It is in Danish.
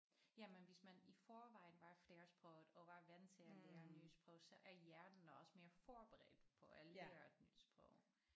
Ja men hvis man i forvejen var flersproget og var vant til at lære nye sprog så er hjernen også mere forberedt på at lære et nyt sprog